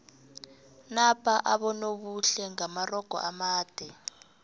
napa abonobuhle ngamarogo amade